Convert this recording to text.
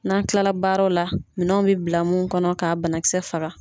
N'an kilala baaraw la minɛnw bɛ bila munnu kɔnɔ k'a banakisɛ faga.